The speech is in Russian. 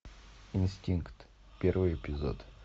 инстинкт первый эпизод